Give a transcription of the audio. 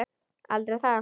Aldrei það.